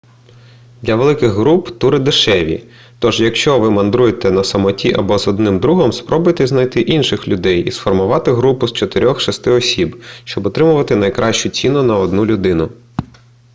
для великих груп тури дешевші тож якщо ви мандруєте на самоті або з одним другом спробуйте знайти інших людей і сформувати групу з чотирьох-шести осіб щоб отримати найкращу ціну на одну людину